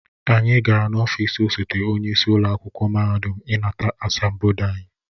Anyị gara n'ọfịs osote onye isi ụlọ akwụkwọ mahadum ịnata asambodo anyị